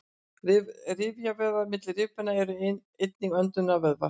rifjavöðvar milli rifbeina eru einnig öndunarvöðvar